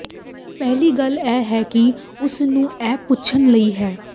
ਪਹਿਲੀ ਗੱਲ ਇਹ ਹੈ ਕਿ ਉਸ ਨੂੰ ਇਹ ਪੁੱਛਣ ਲਈ ਹੈ